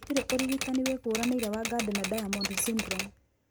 Gũtirĩ ũrigitani wĩkũranĩire wa Gardner Diamond syndrome